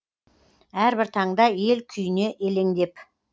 әрбір таңда ел күйіне елеңдеп